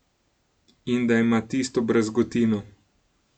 In da ima tisto brazgotino.